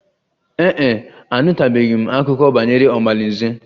Ee e, anụtụbeghị m akụkọ banyere omalinze